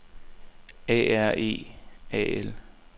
A R E A L